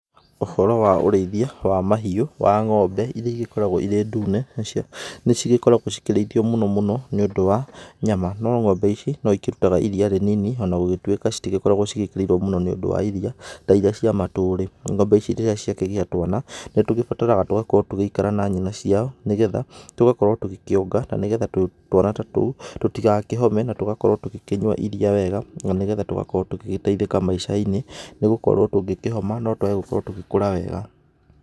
Ũhoro wa ũrĩithia wa mahiũ wa ng'ombe iria igĩkoragwo irĩ ndune nacio nĩ cigĩkoragwo cikĩrĩithio mũno mũno nĩ ũndũ wa nyama. No ng'ombe ici no ikĩrutaga iria rĩ nini ona gũtuĩka citikoragwo ciĩkĩrĩirwo mũno nĩ ũndũ wa iria ta iria cia matũri. Ng'ombe ici rĩrĩa ciakĩgĩa twana nĩ tũgĩbataraga tũgagĩkorwo tũgĩikara na nyina ciao, nĩ getha tũgakorwo tũgĩkĩonga na nĩ gretha twana ta tũu tũtigakĩhome. Na tũgakorwo tũgĩkĩnyua iria wega na nĩ getha tũgakorwo tũgĩteithĩka maicai-inĩ, nĩ gũkorwo tũngĩkĩhoma no twage gũkorwo tũgĩkũra wega.